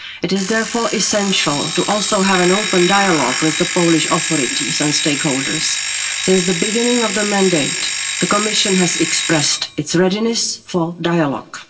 It is therefore essential also to have an open dialogue with the Polish authorities and stakeholders. Since the beginning of the mandate, the Commission has expressed its readiness for dialogue.